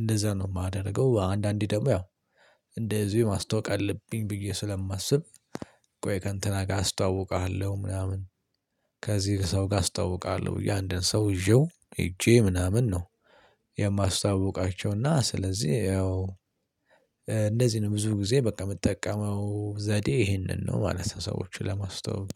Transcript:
እንደዛ ነው የማደርገው። አንዳንዴ ደግሞ ያው እንደዚህ ማስተዋወቅ አለብኝ ብዬ ስለማስብ ቆይ ከእንትና ጋር አስተዋውቅሃለሁ ምናምን ከዚህ ሰው ጋር አስተዋውቃለሁ ያንድን ሰው ይዤው ሄጄ ምናምን ነው። የማስተዋውቃቸውና ስለዚህ ያው እንደዚህ ነው ብዙ ጊዜ በቃ የምጠቀመው ዘዴ ይሄንን ነው ማለት ሰዎችን ለማስተዋወቅ።